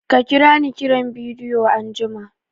Ka kira ni kiran bidiyo anjima!